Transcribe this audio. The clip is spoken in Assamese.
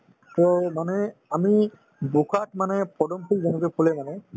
to মানে আমি বোকাত মানে পদুম ফুল যেনেকৈ ফুলে মানে